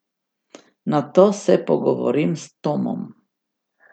Nato se pogovorim s Tomom.